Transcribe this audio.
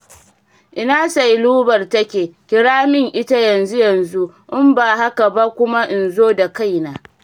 Ina Sailubar take, kira min ita yanzu-yanzu in ba haka ba kuma in zo da kaina.